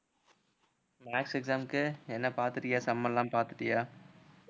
maths exam க்கு என்ன பாத்துட்டியா sum எல்லாம் பாத்துட்டியா